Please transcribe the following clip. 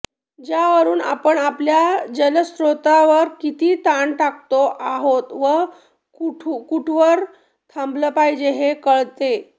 ज्यावरून आपण आपल्या जलस्त्रोतांवर किती ताण टाकतो आहोत व तो कुठवर थांबवला पाहिजे हे कळते